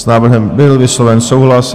S návrhem byl vysloven souhlas.